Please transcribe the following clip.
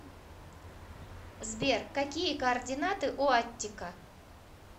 сбер какие координаты у аттика